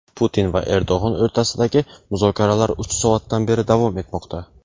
Putin va Erdo‘g‘on o‘rtasidagi muzokaralar uch soatdan beri davom etmoqda.